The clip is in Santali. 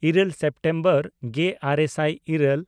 ᱤᱨᱟᱹᱞ ᱥᱮᱯᱴᱮᱢᱵᱚᱨ ᱜᱮᱼᱟᱨᱮ ᱥᱟᱭ ᱤᱨᱟᱹᱞ